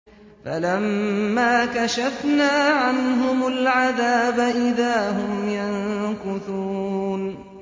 فَلَمَّا كَشَفْنَا عَنْهُمُ الْعَذَابَ إِذَا هُمْ يَنكُثُونَ